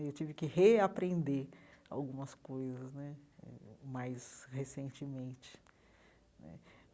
Eu tive que reaprender algumas coisas né eh mais recentemente né.